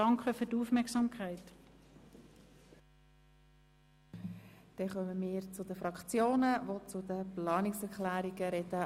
Wir kommen zu den Fraktionen, die sich zu den Planungserklärungen äussern.